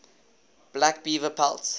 black beaver pelts